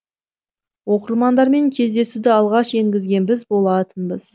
оқырмандармен кездесуді алғаш енгізген біз болатынбыз